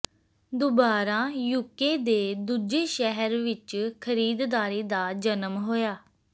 ਦੁਬਾਰਾ ਯੂਕੇ ਦੇ ਦੂਜੇ ਸ਼ਹਿਰ ਵਿੱਚ ਖਰੀਦਦਾਰੀ ਦਾ ਜਨਮ ਹੋਇਆ